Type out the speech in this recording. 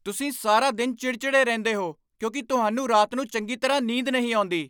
ਤੁਸੀਂ ਸਾਰਾ ਦਿਨ ਚਿੜਚਿੜੇ ਰਹਿੰਦੇ ਹੋ ਕਿਉਂਕਿ ਤੁਹਾਨੂੰ ਰਾਤ ਨੂੰ ਚੰਗੀ ਤਰ੍ਹਾਂ ਨੀਂਦ ਨਹੀਂ ਆਉਂਦੀ।